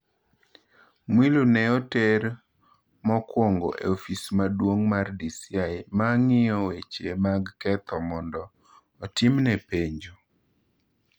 Mwilu ne oter mokuongo e ofis maduong’ mar DCI ma ng’iyo weche mag ketho mondo otimne penjo.